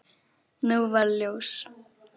Nú varð ljós.